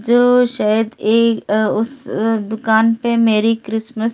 जो शायद ए अ ओ उस स अ दुकान पे मेरी क्रिसमस लिख।